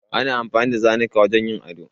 Ana amfani da zanuka wajen yin ado.